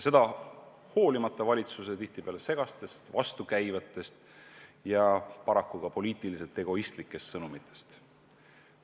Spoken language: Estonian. Seda hoolimata valitsuse tihtipeale segastest, vastukäivatest ja paraku ka poliitiliselt egoistlikest sõnumitest.